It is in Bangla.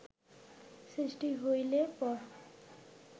সৃষ্টি হইলে পর